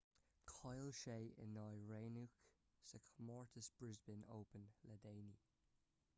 chaill sé in aghaidh raonic sa chomórtas brisbane open le déanaí